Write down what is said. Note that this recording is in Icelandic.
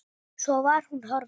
Svo var hún horfin.